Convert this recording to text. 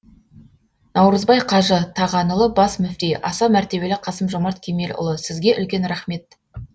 наурызбай қажы тағанұлы бас мүфти аса мәртебелі қасым жомарт кемелұлы сізге үлкен рахмет